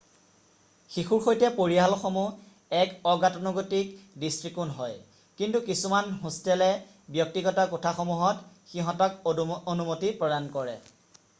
শিশুৰ সৈতে পৰিয়ালসমূহ এক অগতানুগতিক দৃষ্টিকোণ হয় কিন্তু কিছুমান হোষ্টেলে ব্যক্তিগত কোঠাসমূহত সিঁহতক অনুমতি প্ৰদান কৰে৷